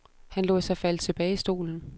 Han lod sig falde tilbage i stolen.